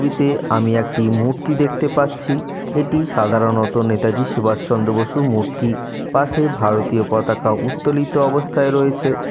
ছবিতে আমি একটি মূর্তি দেখতে পাচ্ছি। এটি সাধারণত নেতাজি সুভাষচন্দ্র বসু মূর্তি । পাশে ভারতীয় পতাকা উত্তোলিত অবস্থায় রয়েছে।